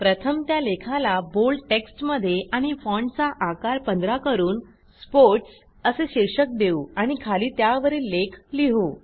प्रथम त्या लेखाला बोल्ड टेक्स्टमध्ये आणि फाँटचा आकार 15 करून स्पोर्ट्स असे शीर्षक देऊ आणि खाली त्यावरील लेख लिहू